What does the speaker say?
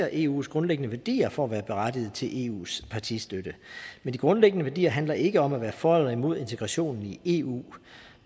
eus grundlæggende værdier for at være berettiget til eus partistøtte men de grundlæggende værdier handler ikke om at være for eller imod integration i eu